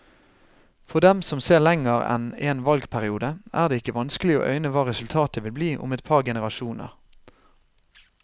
For dem som ser lenger enn en valgperiode, er det ikke vanskelig å øyne hva resultatet vil bli om et par generasjoner.